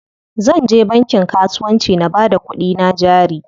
Zanje bankin kasuwanci na bada kuɗina jari.